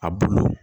A bulu